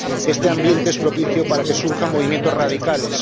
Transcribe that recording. Este ambiente es propicio para que surjan movimientos radicales.